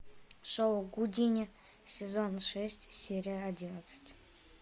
шоу гудини сезон шесть серия одиннадцать